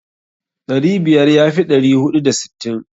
Ɗari biyar ya fi ɗari huɗu da sittin.